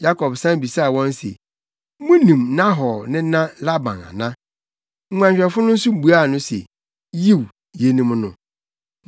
Yakob san bisaa wɔn se, “Munim Nahor nena Laban ana?” Nguanhwɛfo no nso buaa no se, “Yiw, yenim no.”